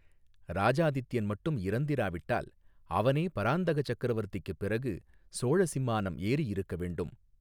இராஜாதித்யன் மட்டும் இறந்திராவிட்டால் அவனே பராந்தக சக்கரவர்த்திக்குப் பிறகு சோழ சிம்மானம் ஏறியிருக்க வேண்டும்.